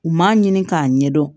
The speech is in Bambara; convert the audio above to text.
U m'a ɲini k'a ɲɛdɔn